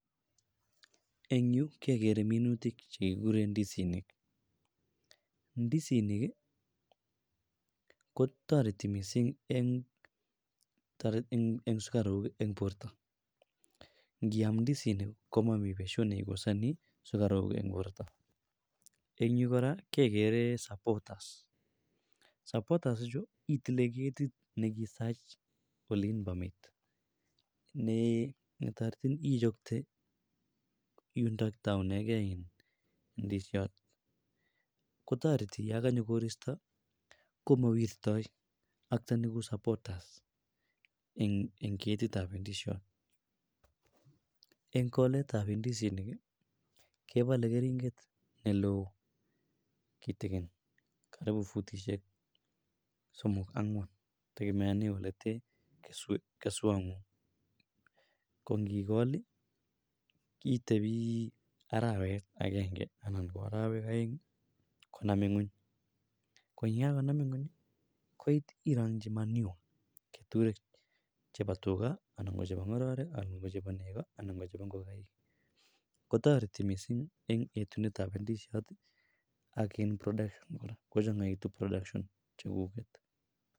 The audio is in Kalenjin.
en yuu kegeree minutik chegiguren ndisinik, ndisinik kotoreti mising' een sugaruuk en bortoo ngiaam ndisinik komomii betut negosanii ndisinik een borto, en yuu koraa kegeree supporters, supporters ichuu itile ketit negisach oleinbomiit nee netoretin ichokte yuton tounegee ndisiot, kotoreti yoo kanyo koristo komowirtoo okteni koouu supporters en ketit ab indisiot, en koleet ab indisinik kebole keringet neloo kitigin karibu futisyeek somok ang'waan tegemeonen oleteen keswoot ko ngigool iih itebii araweet agenge anan ko arowek oeng iih konami ngweeny, ko yegagonam nweeny koit iromchi manure ketureek chebo tugaa anan ko chebo ngororek anan ko chebo nego anan ko chebo ngogaik kotoreti mising' een yetunet ab indisiot ak een production kochongogitun production chegugeet